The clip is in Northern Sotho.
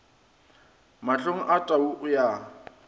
mahlong a tau o ya